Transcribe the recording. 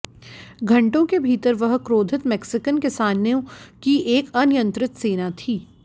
घंटों के भीतर वह क्रोधित मेक्सिकन किसानों की एक अनियंत्रित सेना थी